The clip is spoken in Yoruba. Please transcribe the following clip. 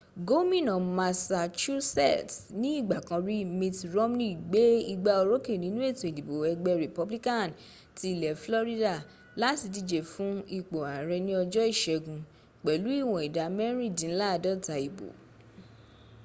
gómínà massachusetts ní ìgbà kan rí mitt romney gbé igbá orókè nínú ètò ìdìbò ẹgbẹ republican ti ilẹ̀ florida láti díje fún ipò ààrẹ ní ọjọ́ ìṣẹ́gun pẹ̀lú ìwọn ìdá mẹ́rìndínláàdọ́ta ìbo